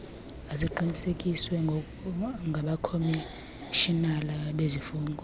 aqinisekiswe ngabakhomishinala bezifungo